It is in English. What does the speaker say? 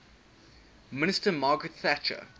minister margaret thatcher